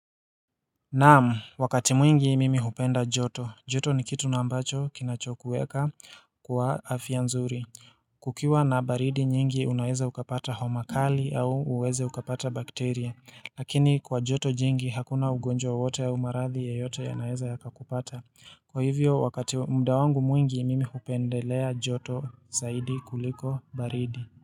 Naam, wakati mwingi mimi hupenda joto. Joto ni kitu na ambacho kinachokueka kwa afya nzuri. Kukiwa na baridi nyingi unaweza ukapata homa kali au uweze ukapata bakteria. Lakini kwa joto jingi hakuna ugonjwa wowote au maradhi yoyote yanaeza yakakupata. Kwa hivyo, wakati muda wangu mwingi mimi hupendelea joto zaidi kuliko baridi.